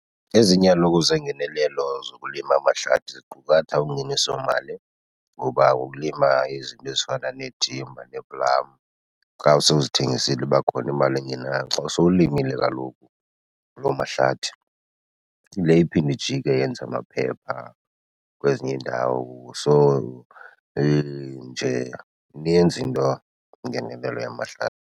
Ezinye kaloku zeengenelelo zokulima amahlathi ziqukatha ungenisomali, ngoba ngokulima izinto ezifana neethimba neeplamu xa usowuzithengisile iba khona imali engenayo. Xa usowulimile kaloku loo mahlathi yile iphinde ijike yenze amaphepha kwezinye iindawo. So injeya ininzi into, ingenelelo yamahlathi.